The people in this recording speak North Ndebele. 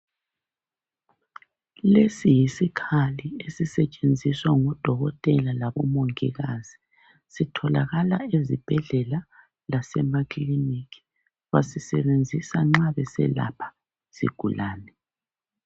Lesi yisikhali esisetshenziswa ngodokotela labo mongikazi, sitholakala ezibhedlela lase makiliniki basisebenzisa nxa beselapha izigulane.